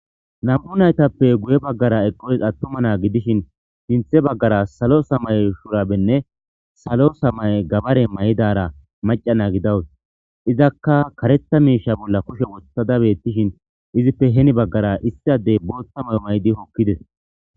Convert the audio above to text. Nam'u naytappe guye baggara eqoys attuma naa gidishin sinthe baggara salo samaye shurabenne salo samaye gabare mayidara macca naa gidawus izakka karetha miisha bolla kushe wothada beettishin izippe heni baggara issi addey booththa mayo mayidi hokkides.